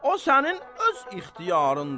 O sənin öz ixtiyarındır.